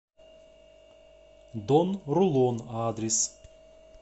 дон рулон адрес